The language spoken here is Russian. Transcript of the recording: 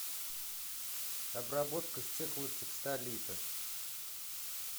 обработка стеклотекстолита